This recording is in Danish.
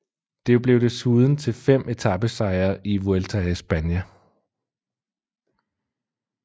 Det blev desuden til fem etapesejre i Vuelta a España